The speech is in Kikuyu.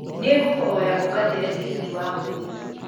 nĩ ngũkũhoya ungatĩre tigiti wa mũgithi